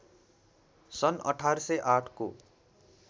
सन् १८०८ को